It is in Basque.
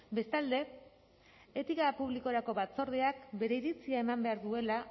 bestalde etika publikorako batzordeak bere iritzia eman behar duela